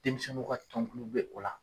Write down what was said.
Denmisɛnw ka tonkulu be o la.